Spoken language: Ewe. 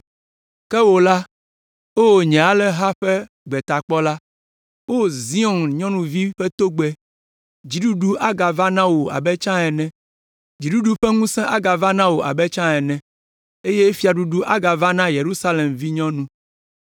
Ke wò la, O nye alẽha ƒe gbetakpɔla, O Zion nyɔnuvi ƒe togbɛ, dziɖuɖu agava na wò abe tsã ene. Dziɖuɖu ƒe ŋusẽ agava na wò abe tsã ene eye fiaɖuɖu agava na Yerusalem vinyɔnu.”